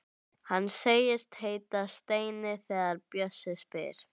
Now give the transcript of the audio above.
Hann segist heita Steini þegar bjössi spyr.